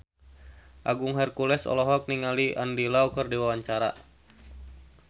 Agung Hercules olohok ningali Andy Lau keur diwawancara